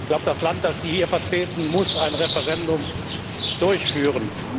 Ich glaube, das Land, das Sie hier vertreten, muss ein Referendum durchführen.